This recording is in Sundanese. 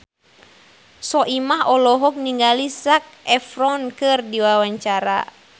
Soimah olohok ningali Zac Efron keur diwawancara